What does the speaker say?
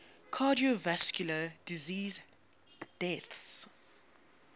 cardiovascular disease deaths